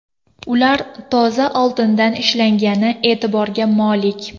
Ular toza oltindan ishlangani e’tiborga molik.